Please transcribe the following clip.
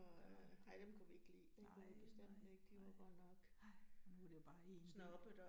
Det var. Nej nej nej, nej, og nu det jo bare én by